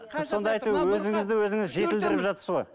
сіз сондай әйтеуір өзіңізді өзіңіз жетілдіріп жатырсыз ғой